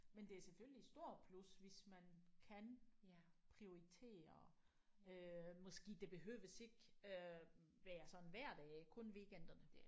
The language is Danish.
Men det er selvfølgelig et stort plus hvis man kan prioritere øh måske det behøves ikke øh være sådan hver dag kun weekenderne